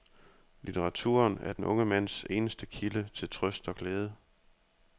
Litteraturen er den unge mands eneste kilde til trøst og glæde.